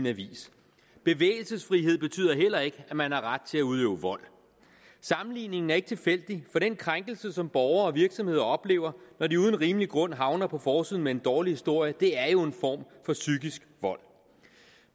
avisen bevægelsesfrihed betyder heller ikke at man har ret til at udøve vold sammenligningen er ikke tilfældig for den krænkelse som borgere og virksomheder oplever når de uden rimelig grund havner på forsiden med en dårlig historie er jo en form for psykisk vold